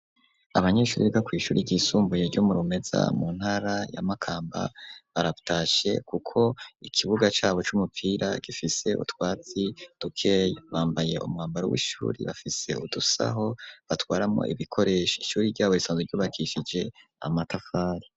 Abanyeshure bo kw'ishure ry'isumbuye ryo murumeza mu ntara ya makamba baratashe kuko ikibuga cabo c'umupira gifise utwatsi dukeya bambaye umwambaro w'ishure bafise udusaho batwaramo ibikoresho ishure ryabo risanzwe ryubakishije amatafari.